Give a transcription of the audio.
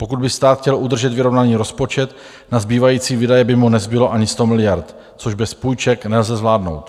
Pokud by stát chtěl udržet vyrovnaný rozpočet, na zbývající výdaje by mu nezbylo ani 100 miliard, což bez půjček nelze zvládnout.